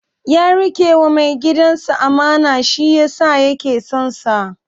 Ya riƙewa mai gidansa amana, shi yasa yake son sa.